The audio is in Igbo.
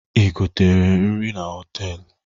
I gotere nri na họtelụ?